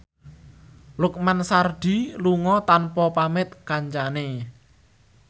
Lukman Sardi lunga tanpa pamit kancane